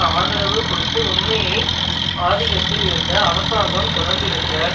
ஆதரவு கொடுத்துமுன்மையை ஆதிகத்தில் இருந்த அரசாங்கம் தொடர்ந்திருந்த